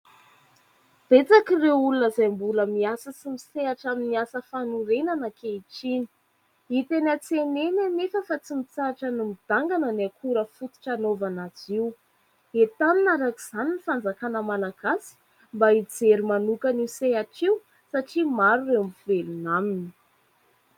Betsaka ireo olona izay mbola miasa sy misehatra amin'ny asa fanorenana ankehitriny. Hita eny an-tsena eny nefa fa tsy mitsahatra ny midangana ny akora fototra hanaovana azy io. Entanina araka izany ny fanjakana Malagasy, mba hijery manokana io sehatra io satria maro ireo mivelona aminy.